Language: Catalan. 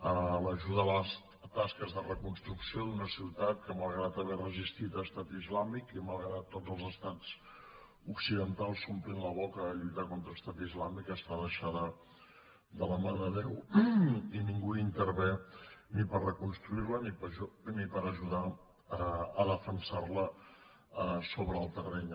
a l’ajuda a les tasques de reconstrucció d’una ciutat que malgrat haver resistit a estat islàmic i malgrat que tots els estats occidentals s’omplin la boca de lluitar contra estat islàmic està deixada de la mà de déu i ningú hi intervé ni per reconstruir la ni per ajudar a defensar la sobre el terreny